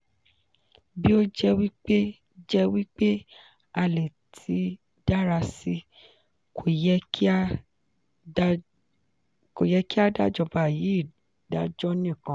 bi o je wi pe je wi pe a le ti dara si ko ye ki a dajoba yii dajo nikan.